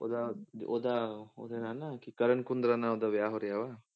ਉਹਦਾ ਉਹਦਾ ਉਹਦੇ ਨਾਲ ਨਾ ਕੀ ਕਰਨ ਕੁੰਦਰਾ ਨਾਲ ਉਹਦਾ ਵਿਆਹ ਹੋਰ ਰਿਹਾ ਵਾ